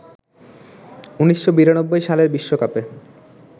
১৯৯২ সালের বিশ্বকাপে